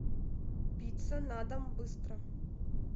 пицца на дом быстро